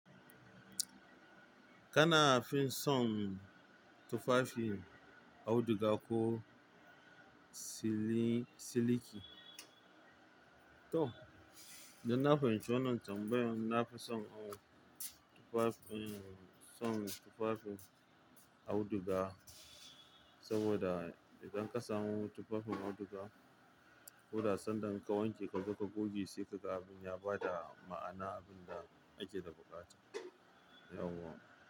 Kana fin son tufafin auduga ko siliki? To, don na fahimci wannan tambayar, na fi son tufafin, son tufafin auduga. Saboda idan ka samu tufafin auduga, koda sanda in ka wanke ka zo ka goge, sai kaga abin ya bada ma'ana, abin da ake da buƙata. Yauwa.